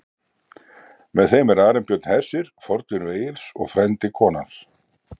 Með þeim er Arinbjörn hersir, fornvinur Egils og frændi konu hans.